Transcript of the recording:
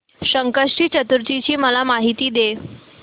संकष्टी चतुर्थी ची मला माहिती दे